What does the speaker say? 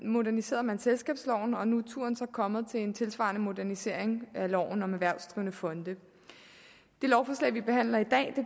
moderniserede man selskabsloven og nu er turen så kommet til en tilsvarende modernisering af loven om erhvervsdrivende fonde det lovforslag vi behandler i dag